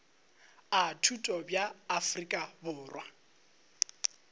a thuto bja afrika borwa